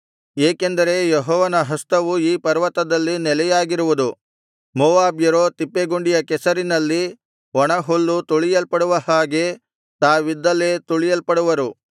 ಏಕೆಂದರೆ ಯೆಹೋವನ ಹಸ್ತವು ಈ ಪರ್ವತದಲ್ಲಿ ನೆಲೆಯಾಗಿರುವುದು ಮೋವಾಬ್ಯರೋ ತಿಪ್ಪೆಗುಂಡಿಯ ಕೆಸರಿನಲ್ಲಿ ಒಣಹುಲ್ಲು ತುಳಿಯಲ್ಪಡುವ ಹಾಗೆ ತಾವಿದ್ದಲ್ಲೇ ತುಳಿಯಲ್ಪಡುವರು